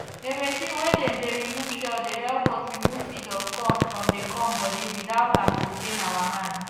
the machine way dey remove shell dey help us remove seed of corn from the corn body without am to pain our hand